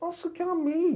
Nossa, o que eu amei!